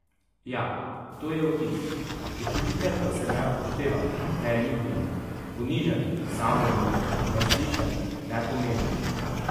Ja, to je opis, počutite pa se neupoštevani, neljubljeni, ponižani, samoumevni, neslišani, nepomembni...